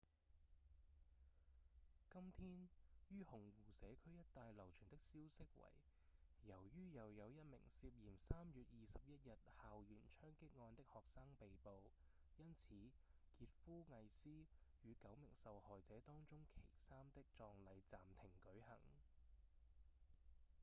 今天於紅湖社區一帶流傳的消息為由於又有一名涉嫌3月21日校園槍擊案的學生被捕因此傑夫·魏斯與九名受害者當中其三的葬禮暫停舉行